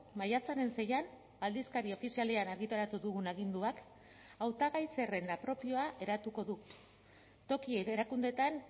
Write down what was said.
maiatzaren seian aldizkari ofizialean argitaratu dugun aginduak hautagai zerrenda propioa eratuko du toki erakundeetan